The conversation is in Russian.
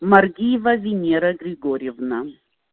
маргиева венера григорьевна